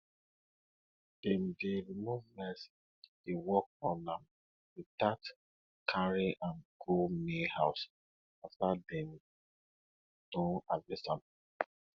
dem dey remove rice dey work on am without carry am go main house after dem don harvest am